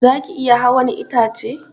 Zaki iya hawan itace?